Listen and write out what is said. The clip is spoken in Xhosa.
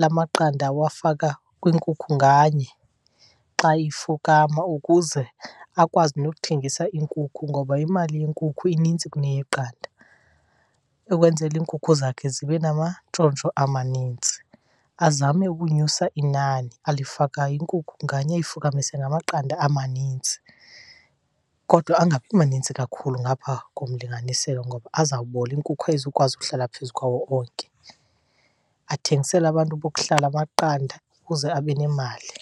lamaqanda awafaka kwinkukhu nganye xa ifukama ukuze akwazi nokuthengisa iinkukhu, ngoba imali yenkukhu inintsi kuneyeqanda, ukwenzela iinkukhu zakhe zibe namantshontsho amanintsi. Azame ukunyusa inani alifakayo, inkukhu nganye ayifukamise namaqanda amanintsi. Kodwa angabi manintsi kakhulu ngapha komlinganiselo ngoba azawubola, inkukhu ayizukwazi ukuhlala phezu kwawo onke. Athengisele abantu bokuhlala amaqanda ukuze abe nemali.